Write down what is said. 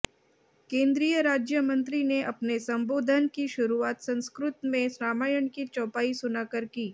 केंद्रीय राज्य मंत्री ने अपने संबोधन की शुरूआत संस्कृत में रामायण की चौपाई सुनाकर की